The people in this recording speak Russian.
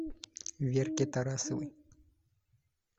верке тарасовой